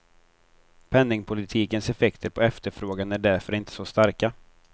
Penningpolitikens effekter på efterfrågan är därför inte så starka.